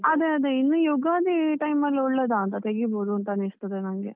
ಅದೇ ಅದೇ, ಇನ್ನು ಯುಗಾದಿ time ಅಲ್ಲಿ ಒಳ್ಳೆದಾ ಅಂತ, ತೆಗಿಬೋದು ಅಂತ ಅನಿಸ್ತದೆ ನನ್ಗೆ.